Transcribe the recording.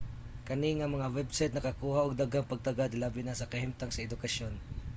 kani nga mga website nakakuha og daghang pagtagad hilabi na sa kahimtang sa edukasyon